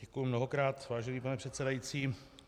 Děkuji mnohokrát, vážený pane předsedající.